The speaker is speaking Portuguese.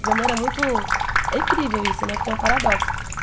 Minha mãe era muito... É incrível isso né, porque é um paradoxo.